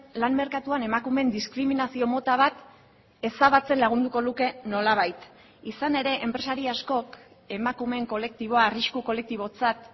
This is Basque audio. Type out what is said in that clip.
lan merkatuan emakumeen diskriminazio mota bat ezabatzen lagunduko luke nolabait izan ere enpresari askok emakumeen kolektiboa arrisku kolektibotzat